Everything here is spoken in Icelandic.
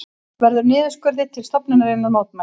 Verður niðurskurði til stofnunarinnar mótmælt